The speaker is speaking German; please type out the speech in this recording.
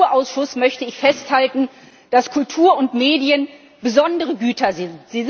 Für den Kulturausschuss möchte ich festhalten, dass Kultur und Medien besondere Güter sind.